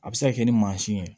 A bɛ se ka kɛ ni mansin ye